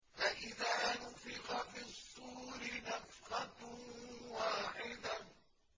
فَإِذَا نُفِخَ فِي الصُّورِ نَفْخَةٌ وَاحِدَةٌ